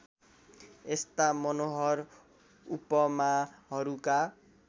यस्ता मनोहर उपमाहरूका